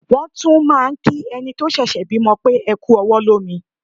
Wọ́n tún máà ń kí ẹni tó ṣẹ̀ṣẹ̀ bímọ pé "ẹ kú ọwọ́ lómi".